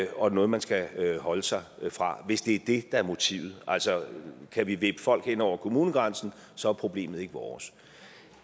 og noget man skal holde sig fra hvis det er det der er motivet altså kan vi vippe folk hen over kommunegrænsen så er problemet ikke vores